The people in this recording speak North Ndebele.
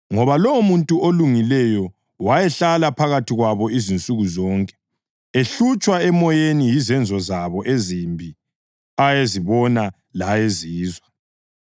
(ngoba lowomuntu olungileyo, wayehlala phakathi kwabo insuku zonke, ehlutshwa emoyeni yizenzo zabo ezimbi ayezibona layezizwa).